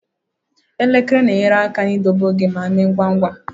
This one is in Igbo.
Elekere na-enyere aka idobe oge ma mee ngwa ngwa.